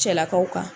Cɛlakaw kan